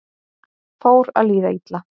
Fór að líða illa